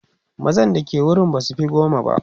mazan da ke wurin basufi goma ba